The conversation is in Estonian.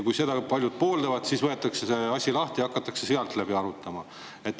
Kui seda paljud pooldaksid, siis võetaks see asi lahti ja hakataks läbi arutama.